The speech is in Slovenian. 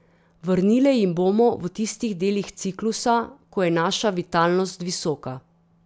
Vrnile jim bomo v tistih delih ciklusa, ko je naša vitalnost visoka.